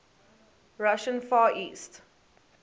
russian far east